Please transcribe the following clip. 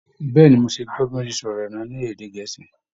Bẹ́ẹ̀ ni, mo ti gbọ́ bí wọ́n ṣe sọ ọ̀rọ̀ náà ní èdè gẹ̀ẹ́sì